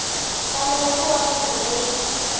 fanele ku va munhu loyi